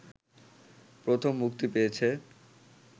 প্রথম মুক্তি পেয়েছে